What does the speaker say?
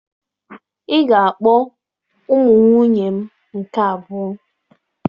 Ị ga-akpọ ụmụ nwunye m nke abụọ!